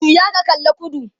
juya ka kalla kudu!